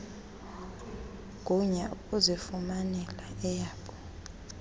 gunya ukuzifumanela eyabo